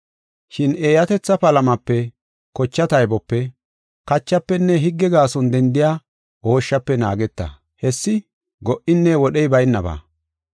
Shin eeyatetha palamape, kocha taybope, kachafenne higge gaason dendiya ooshshafe naageta. Hessi go77inne wodhey baynaba.